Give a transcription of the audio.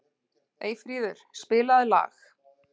Eyfríður, spilaðu lag.